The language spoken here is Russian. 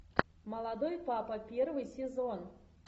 молодой папа первый сезон